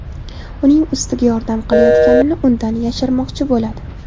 Uning ustiga yordam qilayotganini undan yashirmoqchi bo‘ladi.